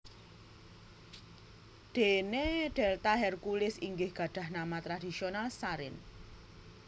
Dene delta Herculis inggih gadhah nama tradhisional Sarin